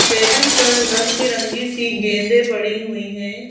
Table पर रंगबिरंगी सी गेंदें पड़ी हुई हैं।